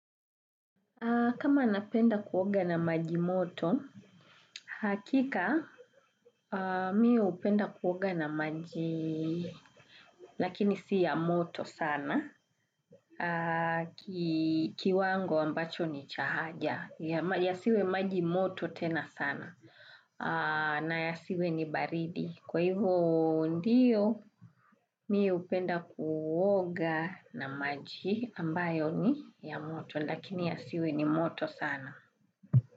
Kama napenda kuoga na maji moto, hakika mi hupenda kuoga na maji, lakini si ya moto sana, kiwango ambacho ni cha haja, ya siwe maji moto tena sana, na ya siwe ni baridi. Kwa hivyo ndiyo, mi hupenda kuoga na maji ambayo ni ya moto, lakini ya siwe ni moto sana.